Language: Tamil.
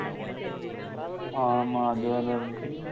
ஆமா அதுவேற இருக்கு